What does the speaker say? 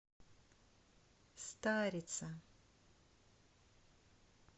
старица